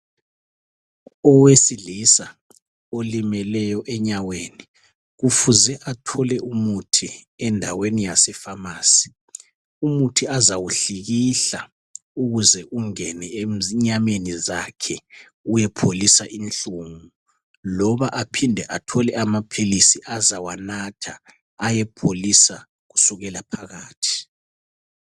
Owesilisa olimeleyo enyaweni ufuze athole umuthi endaweni yasefamasi, umuthi azawuhlikihla ukuze ungene enyameni zakhe uyepholisa inhlungu loba aphinde athole amaphilisi azawanatha ayepholisa kusukela phakathi.